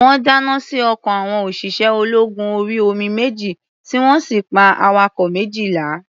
Wọ́n dáná sí ọkọ̀ àwọn òṣìṣẹ́-ológun-orí-omi méjì, tí wọ́n sì pa awakọ̀ méjìlá.